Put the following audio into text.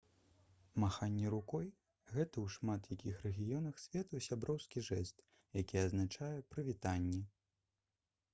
маханне рукой — гэта ў шмат якіх рэгіёнах свету сяброўскі жэст які азначае «прывітанне»